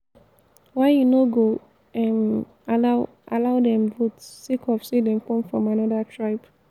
why you no go um allow allow dem vote sake of say dem come from anoda tribe.